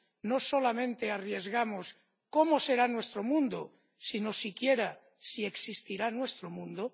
no solamente arriesgamos cómo será nuestro mundo, sino incluso si existirá nuestro mundo—.